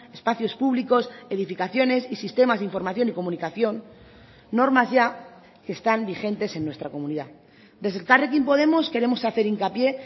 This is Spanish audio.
espacios públicos edificaciones y sistemas de información y comunicación normas ya que están vigentes en nuestra comunidad desde elkarrekin podemos queremos hacer hincapié